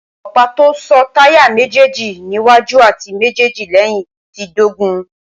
ọ̀pá tó so táyà méjéèlì níwájú àti méjéèjì lẹ́yìn ti dógùn-ún